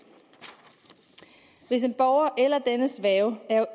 hvis en borger eller dennes værge er